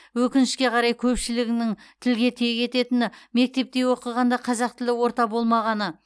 өкінішке қарай көпшілігінің тілге тиек ететіні мектепте оқығанда қазақ тілді орта болмағаны